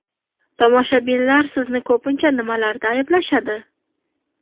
Tomoshabinlar sizni ko‘pincha nimalarda ayblashadi?